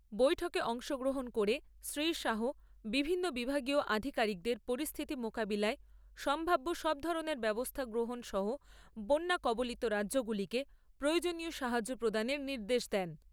বৈঠকে অংশগ্রহণ করে শ্রী শাহ বিভিন্ন বিভাগীয় আধিকারিকদের পরিস্থিতি মোকাবিলায় সম্ভাব্য সবধরণের ব্যবস্থা গ্রহণ সহ বন্যা কবলিত রাজ্যগুলিকে প্রয়োজনীয় সাহায্য প্রদানের নির্দেশ দেন।